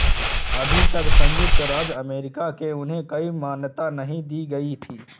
अभी भी संयुक्त राज्य अमेरिका में उन्हें कोई मान्यता नहीं दी गयी थी